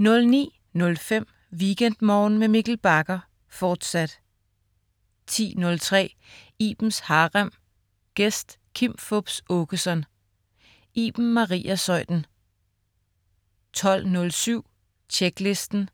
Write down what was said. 09.05 WeekendMorgen med Mikkel Bagger, fortsat 10.03 Ibens Harem. Gæst: Kim Fupz Aakeson. Iben Maria Zeuthen 12.07 Tjeklisten.